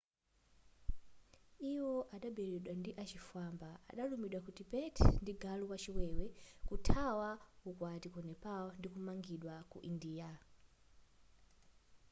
iwo anaberedwa ndi achifwamba analumidwa ku tibet ndi galu wachiwewe kuthawa ukwati ku nepal ndikumangidwa ku india